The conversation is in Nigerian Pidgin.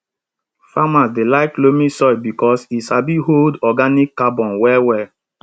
farmers dey like loamy soil because e sabi hold organic carbon well well